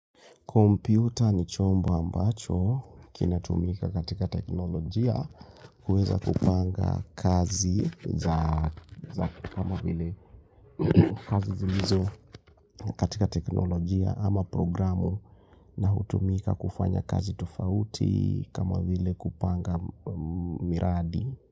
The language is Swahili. Kompyuta ni chombo ambacho kinatumika katika teknolojia kuweza kupanga kazi za kama vile kazi zilizo katika teknolojia ama programu na hutumika kufanya kazi tufauti kama vile kupanga miradi.